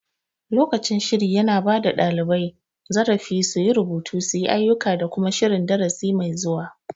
Lokacin shiri yana bada ɗalibai zarafi su yi rubutu, suyi ayuka da kuma shirin darasi mai zuwa